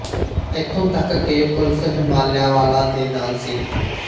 ਇਥੋਂ ਤੱਕ ਕਿ ਪੁਲਿਸ ਹਿਮਾਲਿਆ ਵਾਲਾ ਦੇ ਨਾਲ ਸੀ